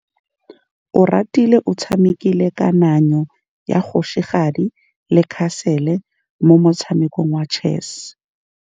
Oratile o tshamekile kananyô ya kgosigadi le khasêlê mo motshamekong wa chess.